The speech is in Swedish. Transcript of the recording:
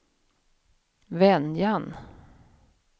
Venjan